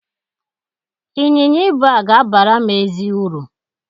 Ịnyịnya ibu a ga-abara m ezi uru.